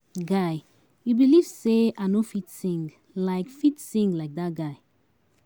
Guy, you believe say I no fit sing like fit sing like dat guy.